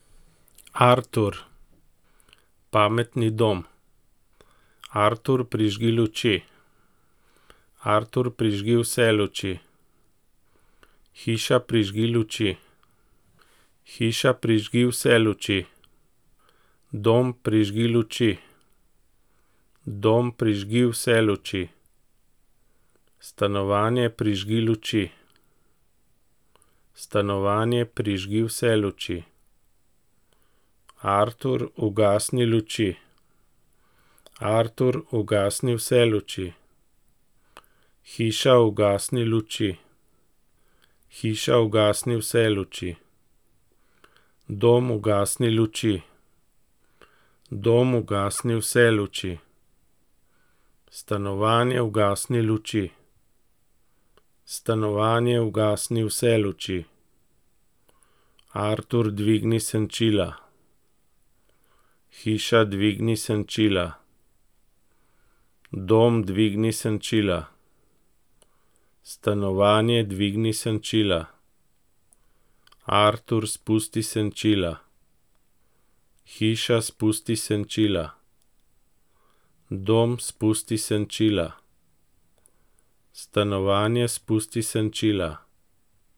Artur. Pametni dom. Artur, prižgi luči. Artur, prižgi vse luči. Hiša, prižgi luči. Hiša, prižgi vse luči. Dom, prižgi luči. Dom, prižgi vse luči. Stanovanje, prižgi luči. Stanovanje, prižgi vse luči. Artur, ugasni luči. Artur, ugasni vse luči. Hiša, ugasni luči. Hiša, ugasni vse luči. Dom, ugasni luči. Dom, ugasni vse luči. Stanovanje, ugasni luči. Stanovanje, ugasni vse luči. Artur, dvigni senčila. Hiša, dvigni senčila. Dom, dvigni senčila. Stanovanje, dvigni senčila. Artur, spusti senčila. Hiša, spusti senčila. Dom, spusti senčila. Stanovanje, spusti senčila.